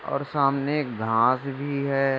और सामने एक घास भी हैं।